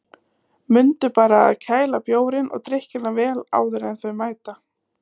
Mundu bara að kæla bjórinn og drykkina vel áður en þeir mæta.